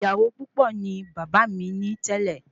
Ìyàwó púpò ni bàbá mí ní tẹlẹ